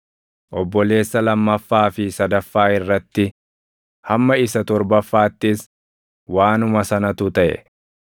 Obboleessa lammaffaa fi sadaffaa irratti, hamma isa torbaffaattis waanuma sanatu taʼe.